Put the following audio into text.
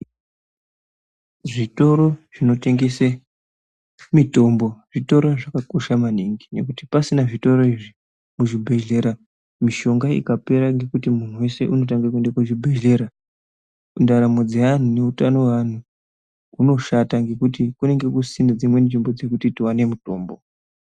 Zvitoro zvinotengese mitombo zvitoro zvakakosha maningi nekuti pasina zvitoro izvi muzvibhehlera mishonga ikapera ngekuti muntu wese unotange kuende kuzvibhehlera ndaramo dzeanhu neutano hweanhu hunoshata nekuti kunge kusisina dzimwe nzvimbo dzekuti tiwane mutombo.